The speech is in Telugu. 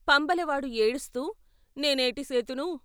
పంబలవాడు ఏడుస్తూ "నేనేటి సేతును...